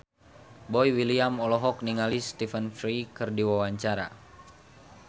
Boy William olohok ningali Stephen Fry keur diwawancara